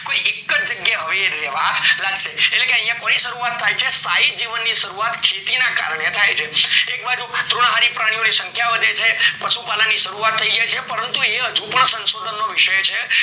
કોઈ એકજ જગ્યાએ એ હવે રેવા લાગશે એટલે યા કોની શરૂવાટત થાય છે એટલે સ્થાયી જીવન ની શરૂવાત ખેતી ના કરને થાય છે એકબાજુ જન્હારી પ્રાણી ની સંખ્યા વધે છે પશુ પાલન ની શરૂવાત થય જાય છે પરંતુ એ હજુ પણ શાન્શોદન નો વિષય છે